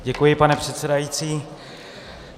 Děkuji, pane předsedající.